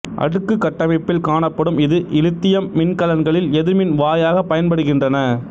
அடுக்குக் கட்டமைப்பில் காணப்படும் இது இலித்தியம் மின்கலன்களில் எதிர்மின் வாயாகப் பயன்படுகின்றன